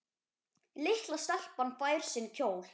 Litla stelpan fær sinn kjól.